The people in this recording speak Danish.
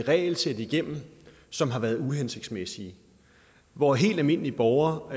regelsæt igennem som har været uhensigtsmæssige hvor helt almindelige borgere